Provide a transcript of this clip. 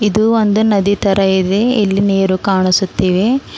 ಇದು ಒಂದು ನದಿ ತರ ಇದೆ ಇಲ್ಲಿ ನೀರು ಕಾಣಿಸುತ್ತಿವೆ.